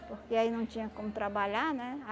Porque aí não tinha como trabalhar, né?